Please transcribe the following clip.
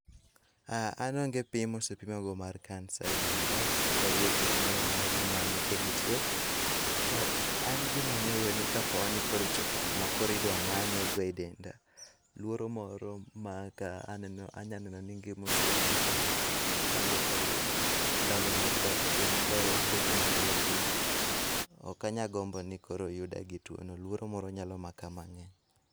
An onge pim mosepimago mar kansa e denda okadhii e thieth moramora ni imanye ka entie. To an gima ang'eyo ni kaponi ochopo kuma koro idwa manye e denda, luoro moro maka anya neno ni gima oserumona aonge koro ndalo mag dak e piny kae. Onge gima anyalo timo, okanyal gombo ni koro oyuda gi tuono luoro moro nyalo maka mang'eny.